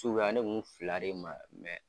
ne kun bɛ fila de mara